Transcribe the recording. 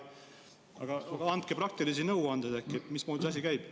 Aga andke praktilisi nõuandeid, mismoodi see asi käib.